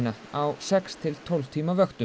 á sex til tólf tíma vöktum